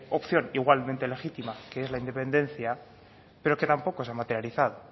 opción igualmente legítima que es la independencia pero que tampoco se ha materializado